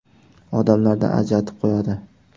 Odamlardan ajratib qo‘yadi.